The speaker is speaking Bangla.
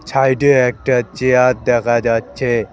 সাইডে একটা চেয়ার দেখা যাচ্ছে।